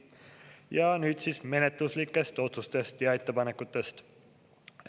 Ja nüüd menetluslikest otsustest ja ettepanekutest.